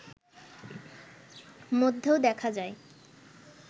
মধ্যেও দেখা যায়